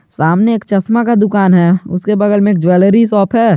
सामने एक चश्मा का दुकान है उसके बगल में ज्वेलरी शॉप है।